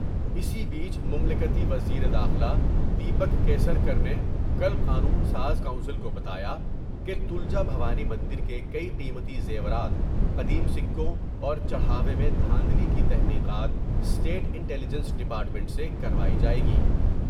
اسی بیچ ملکتی وزیر داخلہ دیپک کیسر کر نے کا قانون ساز کونسل کو بتا یا کہ تلجا بھوانی مندر کے کئی قیمتی زیورات ، قدیم سکوں اور چڑ ھاوے میں دھاندلی کی تحقیقات اسٹیٹ انٹیلیجنس ڈیپارٹمنٹ سے کروائی جاۓ گی ۔